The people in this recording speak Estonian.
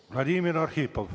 Vladimir Arhipov.